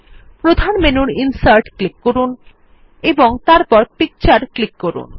প্রধান মেনুর ইনসার্ট এ ক্লিক করুন এবং তারপর Picture এ ক্লিক করুন